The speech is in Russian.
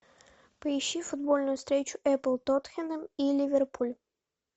поищи футбольную встречу апл тоттенхэм и ливерпуль